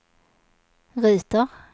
ruter